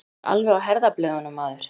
Þú ert alveg á herðablöðunum, maður!